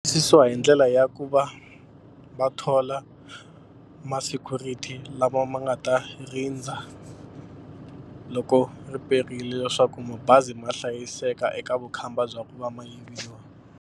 Susiwa hi ndlela ya ku va va thola ma-security lava ma nga ta rindza loko ri perile leswaku mabazi ma hlayiseka eka vukhamba bya ku va ma yiviwa.